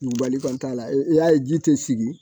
Dugubali kɔni t'a la i y'a ye ji tɛ sigi